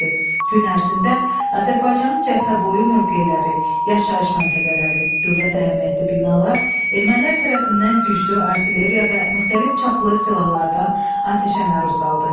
Gün ərzində Azərbaycanın cəbhə boyu mövqeləri, yaşayış məntəqələri, dövlət əhəmiyyətli binalar ermənilər tərəfindən güclü artilleriya və müxtəlif çaplı silahlardan atəşə məruz qaldı.